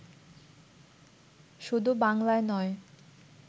শুধু বাংলায় নয়